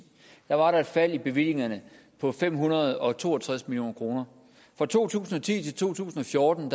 var der et fald i bevillingerne på fem hundrede og to og tres million kroner fra to tusind og ti til to tusind og fjorten